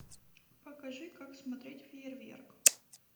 покажи как смотреть фейерверк